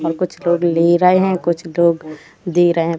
और कुछ लोग ले रहे है कुछ लोग दे रहे है।